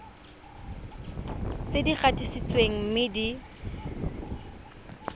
tse di gatisitsweng mme di